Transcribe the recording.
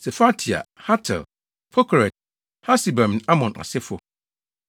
Sefatia, Hatil, 1 Pokeret-Hasebaim ne Amon asefo, 1